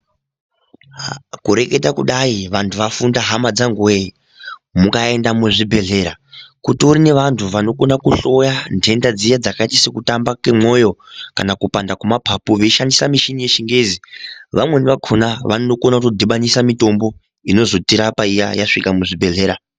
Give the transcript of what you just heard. Kureketa kudai vantu vafunda hama dzangu we mukaenda kuzvibhedhlera kune vantu vanokona kuhloya ndenda dziya dzakaita semwoyo kupanda kwemapapu veishandisa michini yechingezi vamweni vakona vanokona kudhubanisa mitombo inozotirapa iya yasvika muzvibhedhlera.